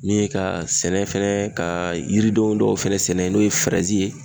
Min ye ka sɛnɛ fɛnɛ ka yiridenw dɔw fɛnɛ sɛnɛ n'o ye ye